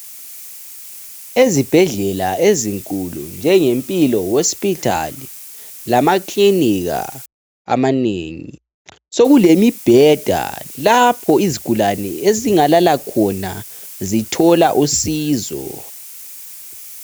Ezibhedlela ezinkulu njenge "Mpilo hospital" lamakilinika amanengi sokulemibheda lapho izigulane ezingalala khona zithola usizo.